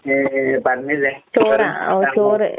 ഏഹ് പറഞ്ഞില്ലേ, ചോറും സാമ്പാറും.